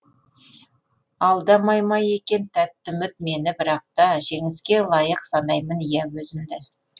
алдамай ма екен тәтті үміт мені бірақта жеңіске лайық санаймын иә өзімді